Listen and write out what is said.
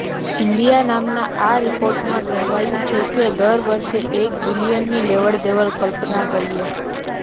India નામના આ રિપોર્ટમાં કહેવાયું છે કે દર વર્ષે એક બિલીયનની લેવડદેવડની કલ્પના કરીએ